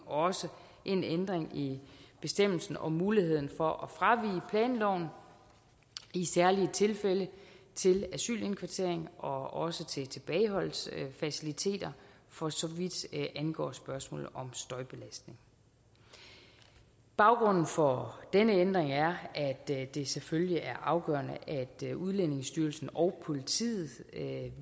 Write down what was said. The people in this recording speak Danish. også en ændring i bestemmelsen om muligheden for at fravige planloven i særlige tilfælde til asylindkvartering og også til tilbageholdelsesfaciliteter for så vidt angår spørgsmålet om støjbelastning baggrunden for denne ændring er at det det selvfølgelig er afgørende at udlændingestyrelsen og politiet